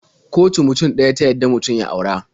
Kotu mutum ɗaya ta yadda mutum ya aura.